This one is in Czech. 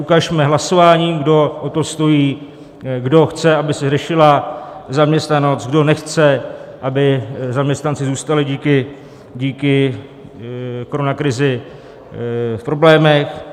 Ukažme hlasováním, kdo o to stojí, kdo chce, aby se řešila zaměstnanost, kdo nechce, aby zaměstnanci zůstali díky koronakrizi v problémech.